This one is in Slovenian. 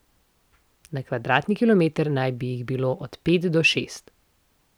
Na kvadratni kilometer naj bi jih bilo od pet do šest.